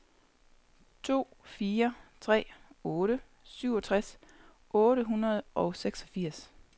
to fire tre otte syvogtres otte hundrede og seksogfirs